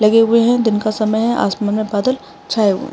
लगे हुए है दिन का समय है आसमान में बदल छाये हुए है।